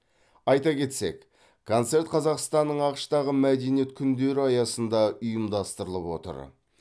айта кетсек концерт қазақстанның ақш тағы мәдениет күндері аясында ұйымдастырылып отыр